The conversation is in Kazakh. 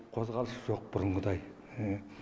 қозғалыс жоқ бұрынғыдай